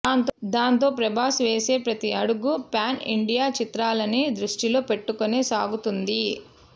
దాంతో ప్రభాస్ వేసే ప్రతీ అడుగు ప్యాన్ ఇండియా చిత్రాలని దృష్టిలో పెట్టుకునే సాగుతోంది